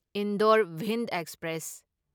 Indore Bhind express